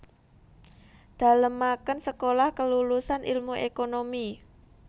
Dalemaken Sekolah Kelulusan Ilmu Ekonomi